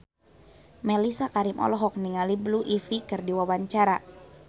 Mellisa Karim olohok ningali Blue Ivy keur diwawancara